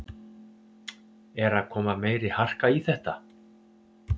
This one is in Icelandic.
Er að koma meiri harka í þetta?